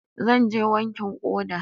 Zan je wankin ƙoda.